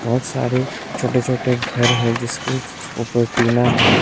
बहुत सारे छोटे छोटे घर हैं जिसके ऊपर टीना है।